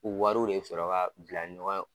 U wariw de sɔrɔ ka bila ɲɔgɔn ye